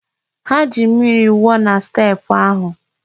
Ha ji mmiri wụọ na steepụ ahụ.